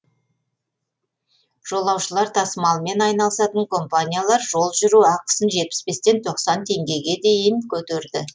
жолаушылар тасымалымен айналысатын компаниялар жол жүру ақысын жетпіс бестен тоқсан теңгеге дейін көтерді